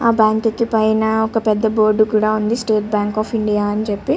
ఆ బ్యాంక్ కు పైన ఒక పెద్ద బోర్డు కూడా ఉంది స్టేట్ బ్యాంక్ ఆఫ్ ఇండియా అనిచెప్పి.